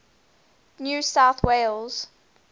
new south wales